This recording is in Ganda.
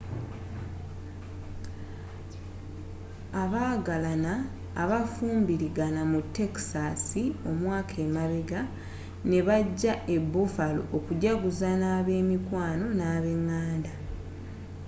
abagalaana abafumbuligana mu texasi omwaka emabega nebajja eh buffalo okujjaguza na bemikwano nabenganda